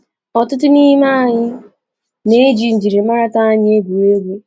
Ọtụtụ n’ime anyị na-eji njirimata anyị egwuri egwu.